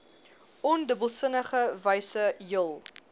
ondubbelsinnige wyse jul